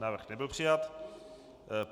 Návrh nebyl přijat.